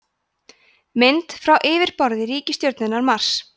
mynd frá yfirborði reikistjörnunnar mars